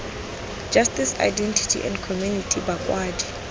justice identity and community bakwadi